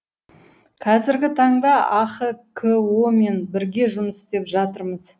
қазіргі таңда ахко мен бірге жұмыс істеп жатырмыз